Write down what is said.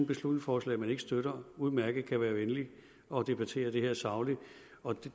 beslutningsforslag vi ikke støtter kan udmærket være venlige og debattere det sagligt og